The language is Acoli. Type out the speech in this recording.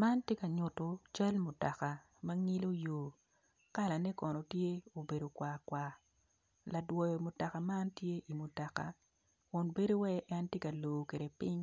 Man tye kanyuto cal mutoka manyilo yo kala ne kono tye obedo kwar kwar ladwoyo mutoka man tye iwi mutoka kun bedo wai entye ka lor kwede ping